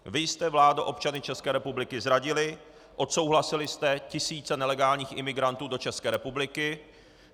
Vy jste, vládo, občany České republiky zradili, odsouhlasili jste tisíce nelegálních imigrantů do České republiky.